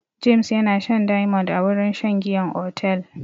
James yana shan diamond a wurin shan giyan otel.